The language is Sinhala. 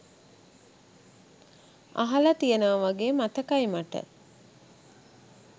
අහල තියෙනව වගේ මතකයි මට.